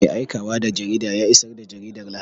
Mai aikawa da jarida ya isar da jaridar Lahadi.